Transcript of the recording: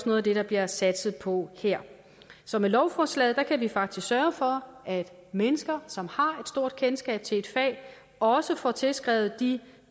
noget af det der bliver satset på her så med lovforslaget kan vi faktisk sørge for at mennesker som har stort kendskab til et fag også får tilskrevet de